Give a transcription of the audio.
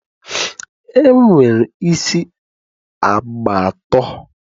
e nwere isi agba atọ.